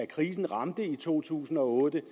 krisen ramte i to tusind og otte